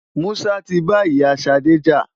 Musa ti ba ìyá Ṣadé jà.